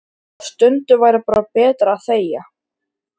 Og stundum væri bara betra að þegja.